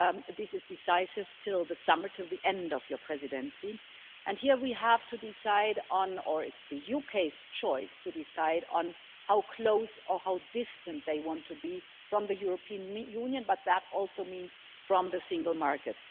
This is decisive until the summer, until the end of your Presidency, and here we have to decide on or it's the UK's choice to decide on how close or how distant they want to be from the European Union, but that also means from the single market.